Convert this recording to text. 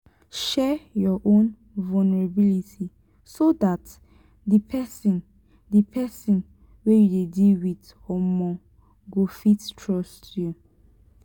share your own vulnerability so dat di person di person wey you dey deal with um go fit trust you.